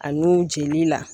A nun jeli la